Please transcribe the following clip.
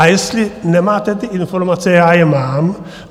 A jestli nemáte ty informace, já je mám.